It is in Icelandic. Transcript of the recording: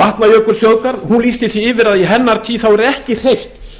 vatnajökulsþjóðgarð hún lýsti því yfir að í hennar tíð yrði ekki hreyft